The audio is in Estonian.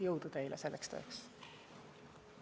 Jõudu teile selleks tööks!